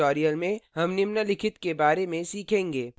इस tutorial में हम निम्नलिखित के बारे में सीखेंगे